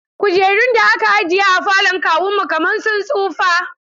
Kujerun da aka ajiye a falon kawuna kaman sun tsufa.